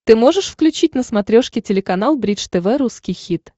ты можешь включить на смотрешке телеканал бридж тв русский хит